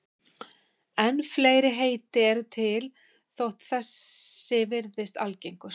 En fleiri heiti eru til þótt þessi virðist algengust.